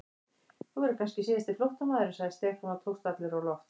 Þú verður kannski síðasti flóttamaðurinn sagði Stefán og tókst allur á loft.